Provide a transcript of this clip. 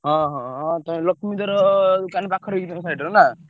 ହଁ ହଁ ହଁ ଲକ୍ଷ୍ମୀଧର ଦୋକନ ପାଖରେ କି ତମ side ରେ ନା?